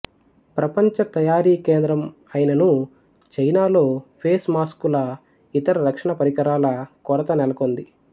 ప్రపంచ తయారీ కేంద్రం అయిననూ చైనా లో ఫేస్ మాస్కుల ఇతర రక్షణ పరికరాల కొరత నెలకొంది